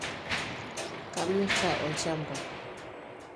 Kamirta olchamba lai.